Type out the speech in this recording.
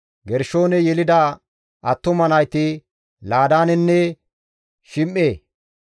Gershooney yelida attuma nayti Laadaanenne Shim7e.